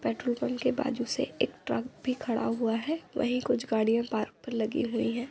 Petrol pump के बाजु से एक ट्रक भी खड़ा हुवा है वाही कुछ गाडिया पार्क पर लगी हुयी है।